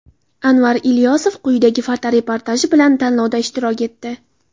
Anvar Ilyosov quyidagi fotoreportaji bilan tanlovda ishtirok etdi.